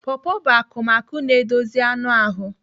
Pọpọ bụ akụmakụ na-edozi anụ ahụ.